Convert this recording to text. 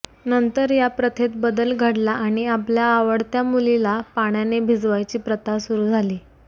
नंतर या प्रथेत बदल घडला आणि आपल्या आवडत्या मुलीला पाण्याने भिजवायची प्रथा सुरु झाली